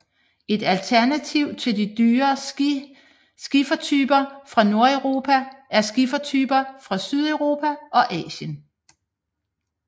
Et alternativ til de dyre skifertyper fra Nordeuropa er skifertyper fra Sydeuropa og Asien